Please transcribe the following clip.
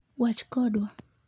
wach kodwa